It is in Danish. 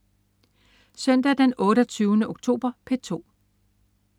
Søndag den 28. oktober - P2: